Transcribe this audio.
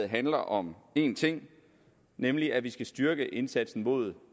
handler om én ting nemlig at vi skal styrke indsatsen mod